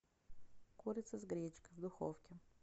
курица с гречкой в духовке